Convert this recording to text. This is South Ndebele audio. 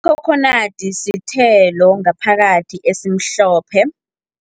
Ikhokhonadi sithelo ngaphakathi esimhlophe.